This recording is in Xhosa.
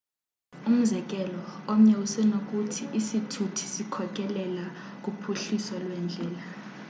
umzekelo omnye usenokuthi isithuthi sikhokelela kuphuhliso lweendlela